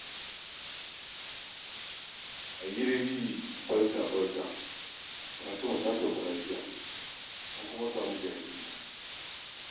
Ayyuriri! Barka! Barka! Fatima ta sauka lafiya, an kuma sami jariri.